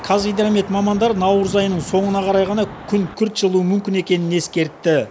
қазгидромет мамандары наурыз айының соңына қарай ғана күн күрт жылуы мүмкін екенін ескертті